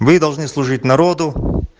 мы должны служить народу